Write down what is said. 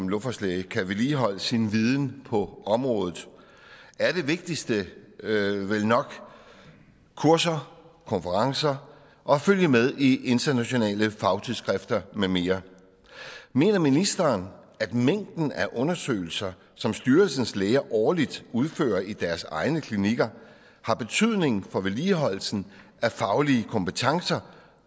luftfartslæge kan vedligeholde sin viden på området er det vigtigste vel nok kurser konferencer og at følge med i internationale fagtidsskrifter med mere mener ministeren at mængden af undersøgelser som styrelsens læger årligt udfører i deres egne klinikker har betydning for vedligeholdelsen af faglige kompetencer